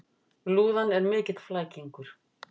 Lúðan er mikill flækingur.